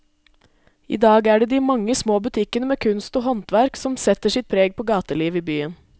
I dag er det de mange små butikkene med kunst og håndverk som setter sitt preg på gatelivet i byen.